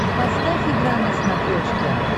поставь игра на смотрешке